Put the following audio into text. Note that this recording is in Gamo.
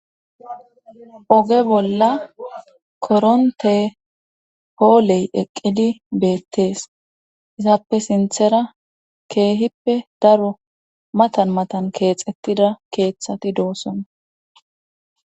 Oge bolla koronte pooley eqqidi beettees isappe sinthera keehippe daro matan matan keex ettida keeththati doosona.